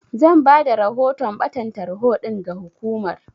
Zan bada rahoton ɓatan tarho ɗin ga hukumar.